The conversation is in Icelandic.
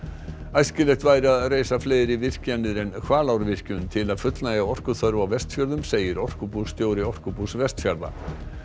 æskilegt væri að reisa fleiri virkjanir en Hvalárvirkjun til að fullnægja orkuþörf á Vestfjörðum segir orkubússtjóri Orkubús Vestfjarða